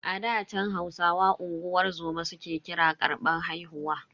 A ɗa chan, Hausawa unguwar zoma su ke kira karbar haihuwa.